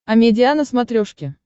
амедиа на смотрешке